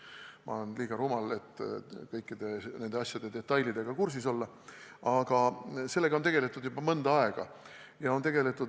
Ma olen liiga rumal, et kõikide nende asjade ja detailidega kursis olla, aga tean, et sellega on tegeldud juba mõnda aega.